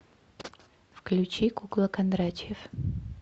включи кукла кондратьев